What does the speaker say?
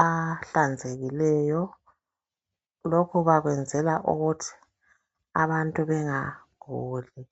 ahlanzekileyo, lokhu bakwenzela ukuthi abantu bengaguli.